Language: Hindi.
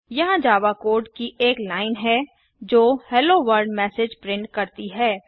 यहाँ जावा कोड की एक लाइन है जो हेलो वर्ल्ड मैसेज प्रिंट करती है